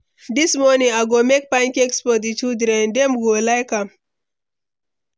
Dis morning, I go make pancakes for di children; dem go like am.